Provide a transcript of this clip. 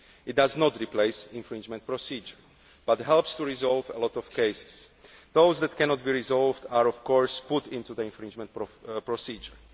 It does not replace the infringement procedure but helps to resolve a lot of cases. Those that cannot be resolved are of course put into the infringement procedure.